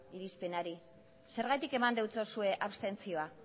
irizpenari zergatik eman diozue abstentzioa